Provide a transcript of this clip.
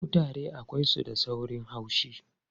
Kutare akwai su da saurin haushi.